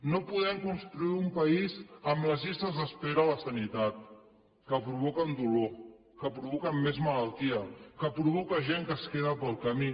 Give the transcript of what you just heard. no podem construir un país amb les llistes d’espera a la sanitat que provoquen dolor que provoquen més malaltia que provoquen gent que es queda pel camí